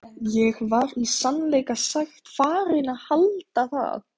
Ég var í sannleika sagt farinn að halda það.